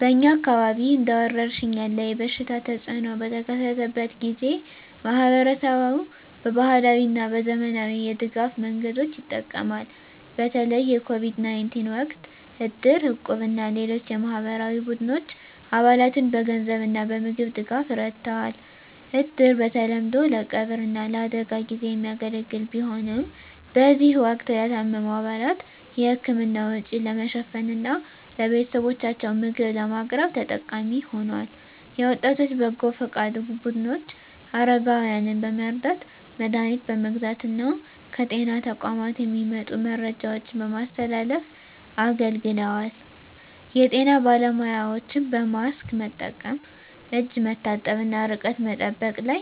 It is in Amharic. በእኛ አካባቢ እንደ ወረርሽኝ ያለ የበሽታ ተፅእኖ በተከሰተበት ጊዜ፣ ማኅበረሰቡ በባህላዊ እና በዘመናዊ የድጋፍ መንገዶች ይጠቀማል። በተለይ የCOVID-19 ወቅት እድር፣ እቁብ እና ሌሎች የማኅበራዊ ቡድኖች አባላትን በገንዘብ እና በምግብ ድጋፍ ረድተዋል። እድር በተለምዶ ለቀብር እና ለአደጋ ጊዜ የሚያገለግል ቢሆንም፣ በዚህ ወቅት ለታመሙ አባላት የሕክምና ወጪ ለመሸፈን እና ለቤተሰቦቻቸው ምግብ ለማቅረብ ተጠቃሚ ሆኗል። የወጣቶች በጎ ፈቃድ ቡድኖች አረጋውያንን በመርዳት፣ መድሀኒት በመግዛት እና ከጤና ተቋማት የሚመጡ መረጃዎችን በማስተላለፍ አገልግለዋል። የጤና ባለሙያዎችም በማስክ መጠቀም፣ እጅ መታጠብ እና ርቀት መጠበቅ ላይ